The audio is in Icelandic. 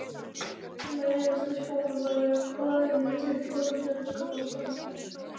Meiðast í skólaferðalagi Hvað er þitt uppáhaldslið í enska boltanum?